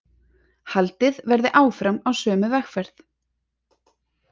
Haldið verði áfram á sömu vegferð